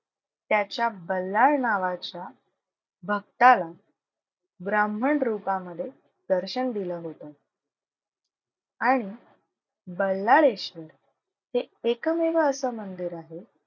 त्याच्या बल्लाळ नावाच्या भक्ताला ब्राह्मण रुपामध्ये दर्शन दिलं होतं. आणि बल्लाळेश्वर हे एकमेव असं मंदिर आहे,